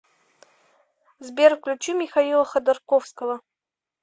сбер включи михаила ходорковского